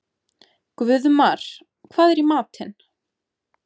Guðmar, hvað er í matinn?